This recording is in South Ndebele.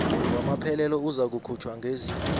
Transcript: wamaphelelo uzakukhutjhwa ngezi